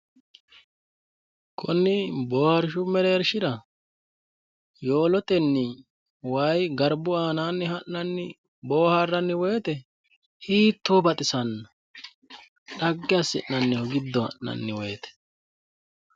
konni boohaarshu mereershira yowolotenni wayi garbu aanaanni ha'nanni boohaarranni woyte hiitto baxisanno xagge assinnaniho giddo ha'nanni wote.